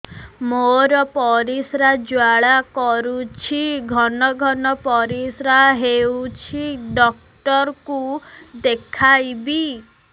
ମୋର ପରିଶ୍ରା ଜ୍ୱାଳା କରୁଛି ଘନ ଘନ ପରିଶ୍ରା ହେଉଛି ଡକ୍ଟର କୁ ଦେଖାଇବି